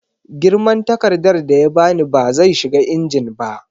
Girman takardar da ya ba ni ba zai shiga injin ba